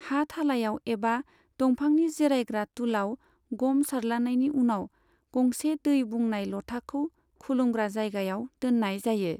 हा थालायाव एबा दंफांनि जिरायग्रा तुलाव ग'म सारद्लानायनि उनाव, गंसे दै बुंनाय ल'थाखौ खुलुमग्रा जायगायाव दोननाय जायो।